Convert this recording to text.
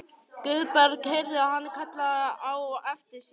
Guðbergur heyrði hann kallað á eftir sér.